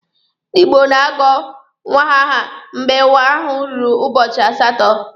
Ndi Igbo na-agọ nwa aha mgbe nwa ahụ ruru ụbọchị asatọ.